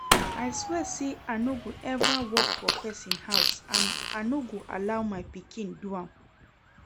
I swear say I no go ever work for person house and I no go allow my pikin do am